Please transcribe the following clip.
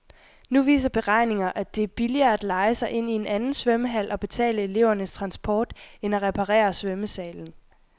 Nu viser beregninger, at det er billigere at leje sig ind i en anden svømmehal og betale elevernes transport end at reparere svømmesalen.